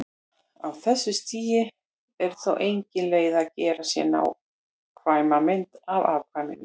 Á þessu stigi er þó engin leið að gera sér nákvæma mynd af afkvæminu.